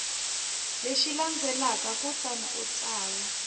lexi landzelaka kutani u tsala